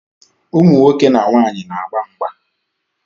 Ụmụnwoke na nwaanyi na-agba mgba